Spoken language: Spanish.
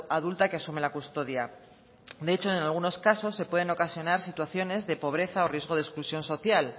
adulta que asume la custodia de hecho en algunos casos se pueden ocasionar situaciones de pobreza o riesgo de exclusión social